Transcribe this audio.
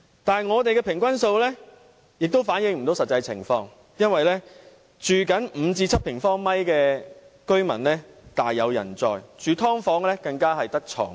但是，我們的平均數亦反映不到實際情況，因為只住5至7平方米的大有人在，而住"劏房"的更只有一張床位。